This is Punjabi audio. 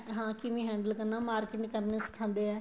ਹਾਂ ਕਿਵੇਂ handle ਕਰਨਾ ਹੈ marketing ਕਰਨਾ ਸਿਖਾਦੇ ਏ